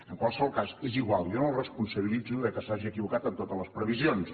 en qualsevol cas és igual jo no el responsabilitzo que s’hagi equivocat en totes les previsions